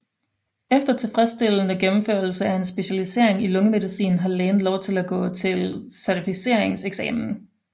Efter tilfredsstillende gennemførelse af en specialisering i lungemedicin har lægen lov til at gå til certificeringseksamen